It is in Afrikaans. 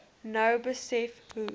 nou besef hoe